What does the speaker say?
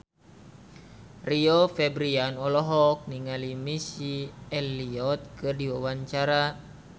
Rio Febrian olohok ningali Missy Elliott keur diwawancara